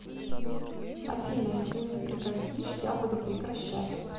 афина если не прекратишь я буду прекращать